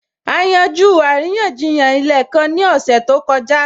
A yanjú àríyànjiyàn ilẹ̀ kan ní ọ̀sẹ̀ tó kọjá